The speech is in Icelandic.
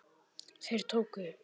Þeir tóku